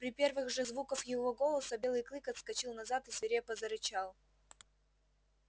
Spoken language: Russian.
при первых же звуках его голоса белый клык отскочил назад и свирепо зарычал